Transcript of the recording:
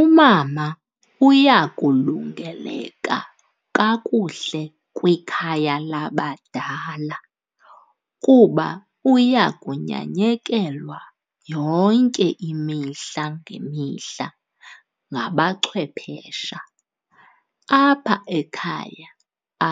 Umama uya kulungeleka kakuhle kwikhaya labadala kuba uya kunyanyekelwa yonke imihla ngemihla ngabachwephesha. Apha ekhaya